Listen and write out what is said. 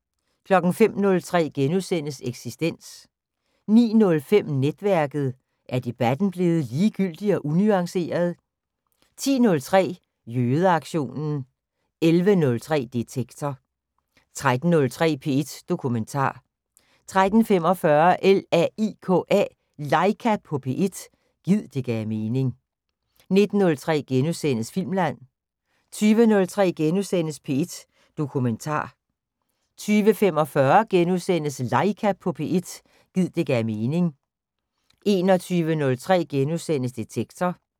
05:03: Eksistens * 09:05: Netværket: Er debatten blevet ligegyldig og unuanceret? 10:03: Jødeaktionen 11:03: Detektor 13:03: P1 Dokumentar 13:45: LAIKA på P1 – gid det gav mening 19:03: Filmland * 20:03: P1 Dokumentar * 20:45: LAIKA på P1 – gid det gav mening * 21:03: Detektor *